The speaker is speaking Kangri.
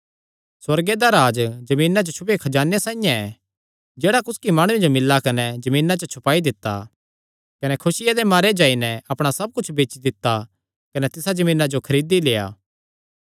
सुअर्गे दा राज्ज जमीना च छुपेयो खजाने साइआं ऐ जेह्ड़ा कुसकी माणुये जो मिल्ला कने जमीना च छुपाई दित्ता कने खुसिया दे मारे जाई नैं अपणा सब कुच्छ बेची दित्ता कने तिसा जमीना जो खरीदी लेआ